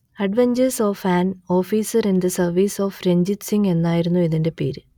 adventures of an officer in the service of Ranjit Singh എന്നായിരുന്നു ഇതിന്റെ പേര്